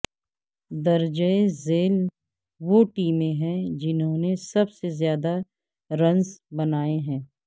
درجہ ذیل وہ ٹیمیں ہیں جنہوں نے سب سے زیادہ رنز بنائے ہیں